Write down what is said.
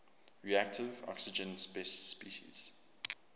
reactive oxygen species